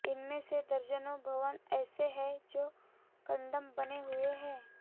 इनमें से दर्जनों भवन ऐसे हैं जो कंडम बने हुए हैं